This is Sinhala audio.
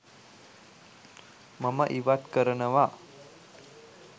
මම ඉවත් කරනවා.